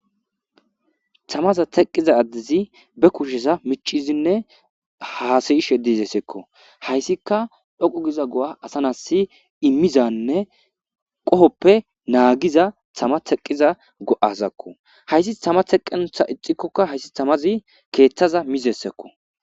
thamaza teqqiza addizi be kushesa micizinne haasayishe dizeseekko hayssika dhoqu giza go7a asa nasi immizanne qohoppe naagiza thama teqqiza go7azakko hayssi tama teqenotha ixikkokka hayssi tamazi keeththaza mizessekko